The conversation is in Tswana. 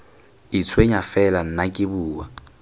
itshwenya fela nna ke bua